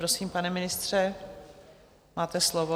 Prosím, pane ministře, máte slovo.